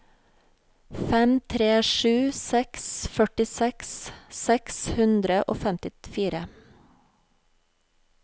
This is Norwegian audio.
fem tre sju seks førtiseks seks hundre og femtifire